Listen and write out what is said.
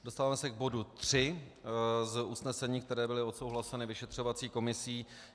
Dostáváme se k bodu 3 z usnesení, která byla odsouhlasena vyšetřovací komisí.